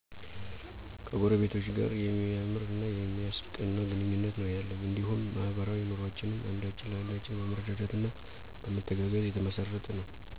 ከጎረቤቶቸ ጋር የሚያምር እና የሚያስቀና ግንኙነት ነው ያለኝ እንዲሁም ማህበራዊ ኑሮአችንም አንዳችን ለአንዳችን በመረዳዳት እና በመተጋገዝ የተመሰረተ ነው።